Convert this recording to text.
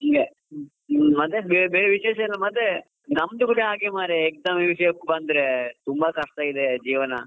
ಮತ್ತೆ ಬೇರೆ ವಿಶೇಷ ಮತ್ತೆ ನಮ್ದು ಕೂಡ ಹಾಗೆ ಮಾರಾಯ exam ವಿಷ್ಯಕ್ಕೆ ಬಂದ್ರೆ ತುಂಬಾ ಕಷ್ಟ ಇದೆ ಜೀವನ.